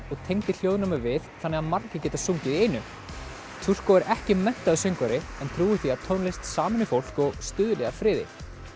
og tengdi hljóðnema við þannig margir geta sungið í einu turko er ekki menntaður söngvari en trúir því að tónlist sameini fólk og stuðli að friði